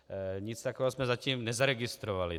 Nic takového jsme zatím nezaregistrovali.